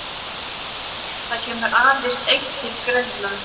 Það kemur aðeins eitt til greina.